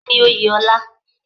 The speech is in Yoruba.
Kínni Oyè ọlá?